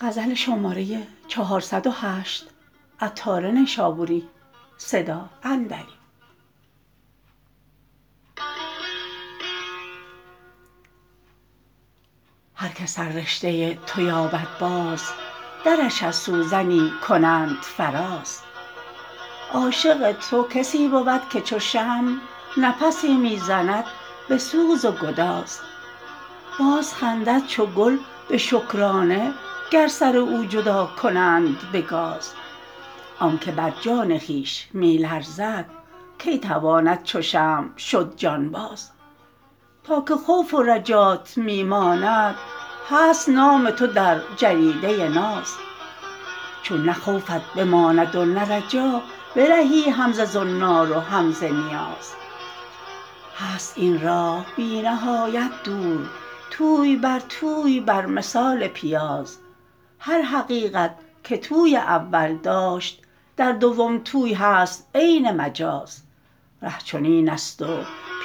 هر که سر رشته تو یابد باز درش از سوزنی کنند فراز عاشق تو کسی بود که چو شمع نفسی می زند به سوز و گداز باز خندد چو گل به شکرانه گر سر او جدا کنند به گاز آنکه بر جان خویش می لرزد کی تواند چو شمع شد جان باز تا که خوف و رجات می ماند هست نام تو در جریده ناز چون نه خوفت بماند و نه رجا برهی هم ز زنار و هم ز نیاز هست این راه بی نهایت دور توی بر توی بر مثال پیاز هر حقیقت که توی اول داشت در دوم توی هست عین مجاز ره چنین است و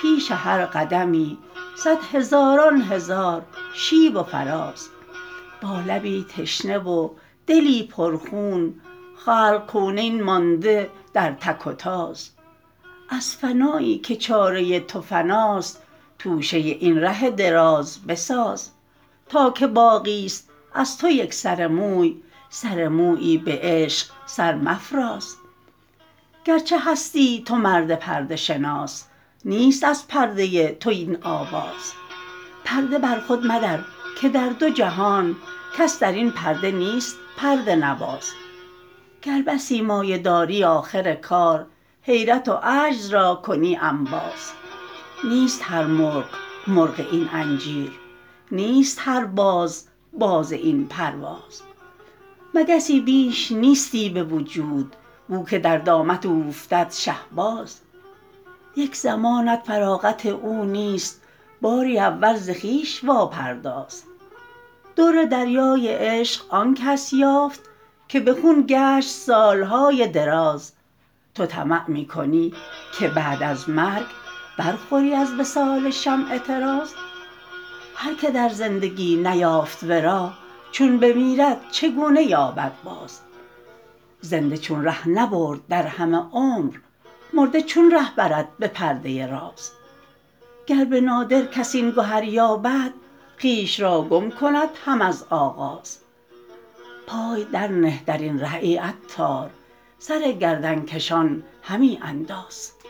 پیش هر قدمی صد هزاران هزار شیب و فراز با لبی تشنه و دلی پر خون خلق کونین مانده در تک و تاز از فنایی که چاره تو فناست توشه این ره دراز بساز تا که باقی است از تو یک سر موی سر مویی به عشق سر مفراز گرچه هستی تو مرد پرده شناس نیست از پرده تو این آواز پرده بر خود مدر که در دو جهان کس درین پرده نیست پرده نواز گر بسی مایه داری آخر کار حیرت و عجز را کنی انباز نیست هر مرغ مرغ این انجیر نیست هر باز باز این پرواز مگسی بیش نیستی به وجود بو که در دامت اوفتد شهباز یک زمانت فراغت او نیست باری اول ز خویش واپرداز در دریای عشق آن کس یافت که به خون گشت سالهای دراز تو طمع می کنی که بعد از مرگ برخوری از وصال شمع طراز هر که در زندگی نیافت ورا چون بمیرد چگونه یابد باز زنده چون ره نبرد در همه عمر مرده چون ره برد به پرده راز گر به نادر کس این گهر یابد خویش را گم کند هم از آغاز پای در نه درین ره ای عطار سر گردن کشان همی انداز